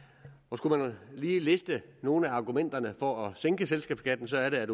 skulle man lige liste nogle af argumenterne for at sænke selskabsskatten så er det